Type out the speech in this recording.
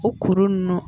O kuru ninnu